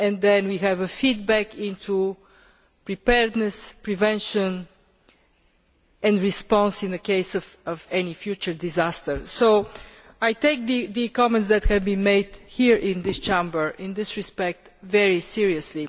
Then we can have a feedback into preparedness, prevention and response in the case of any future disaster. So I take the comments that have been made here in this Chamber in this respect very seriously.